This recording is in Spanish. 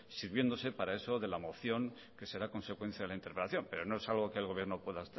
sirviéndose para eso de la moción que será consecuencia de la interpelación pero no es algo que el gobierno pueda